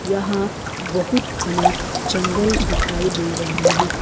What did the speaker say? यहां बहुत घने जंगल दिखाई दे रहे हैं।